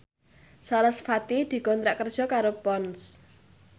sarasvati dikontrak kerja karo Ponds